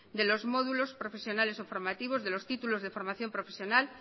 de los módulos profesionales o formativos de los títulos de formación profesional